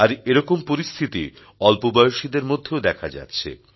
আর এরকম পরিস্থিতি অল্পবয়সীদের মধ্যেও দেখা যাচ্ছে